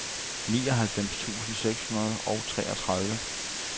nioghalvfems tusind seks hundrede og treogtredive